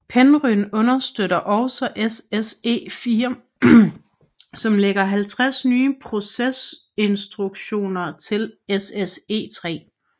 Penryn understøtter også SSE4 som lægger 50 nye processorinstruktioner til SSE3